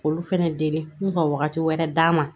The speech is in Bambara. K'olu fɛnɛ deli n'u ka wagati wɛrɛ d'a ma